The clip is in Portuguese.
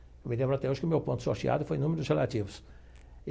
Eu me lembro até hoje que o meu ponto sorteado foi número dos relativos e.